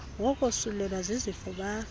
wokosulelwa zizifo bafe